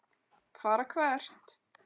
Fara hvert?